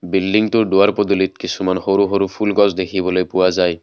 বিল্ডিঙটোৰ দুৱাৰ পদুলিত কিছুমান সৰু-সৰু ফুলৰ গছ দেখিবলৈ পোৱা যায়।